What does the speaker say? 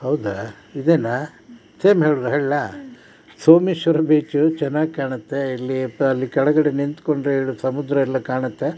ಹೌದ ಇದೇನಾ ನಾ ಹೇಳ್ ಲ ಸೋಮೇಶ್ವರ ಬೀಚ್ ಚನಾಗೆ ಕಾಣುತ್ತೆ ಇಲ್ಲಿ ಕೆಳಗಡೆ ನಿಂತ್ಕೊಂಡ್ರೆ ಸಮುದ್ರ ಎಲ್ಲ ಕಾಣುತ್ತೆ .